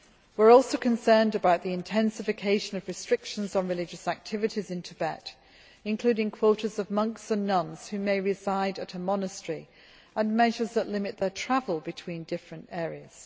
We are also concerned about the intensification of restrictions on religious activities in Tibet, including quotas of monks and nuns who may reside at a monastery and measures limiting their travel between different areas.